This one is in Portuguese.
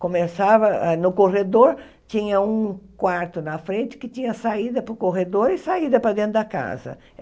Começava no corredor, tinha um quarto na frente, que tinha saída para o corredor e saída para dentro da casa.